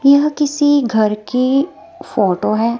यह किसी घर की फोटो है।